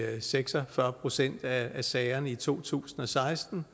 seks og fyrre procent af sagerne i to tusind og seksten